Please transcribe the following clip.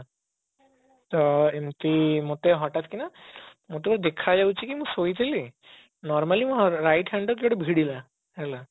ତ ଏମତି ମତେ ହଠାତ କିନା ମତେ ବି ଦେଖା ଯାଉଛି କି ମୁଁ ଶୋଇଥିଲି normally ମୁଁ right hand ରେ କିଏ ଗୋଟେ ଭିଡିଲା ହେଲା